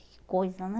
Que coisa, né?